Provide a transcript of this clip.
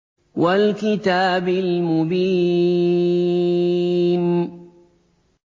وَالْكِتَابِ الْمُبِينِ